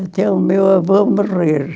Até o meu avô morrer.